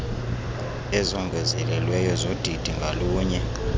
ezongezelelweyo zodidi ngalunye